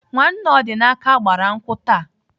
Nwanne Ọdịnaka gbara nkwụ taa.